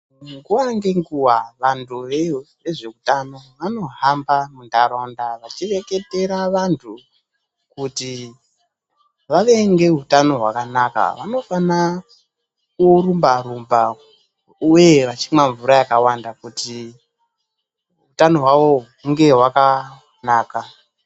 Nguwa ngenguwa vantu vezveutano vanohamba munharaunda veireketera vantu kuti, vave ngeutano hwakanaka vanofana kurumba-rumba uye vachima mvura yakawanda kuti kuti utano hwawo unge hwakanaka.